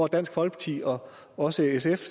dansk folkeparti og også sf